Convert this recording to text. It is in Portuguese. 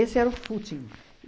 era o footing.